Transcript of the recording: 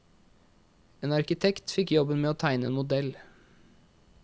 En arkitekt fikk jobben med å tegne en modell.